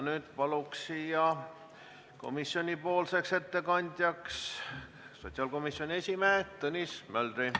Nüüd palun komisjonipoolse ettekande tegemiseks siia sotsiaalkomisjoni esimehe Tõnis Möldri.